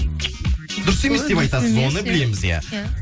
дұрыс емес деп айтасыз оны білеміз иә